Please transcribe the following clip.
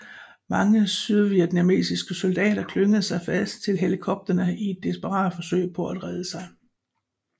Mange sydvietnamesiske soldater klyngede sig fast til helikopterne i et desperat forsøg på at redde sig